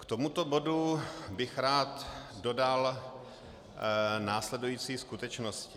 K tomuto bodu bych rád dodal následující skutečnosti.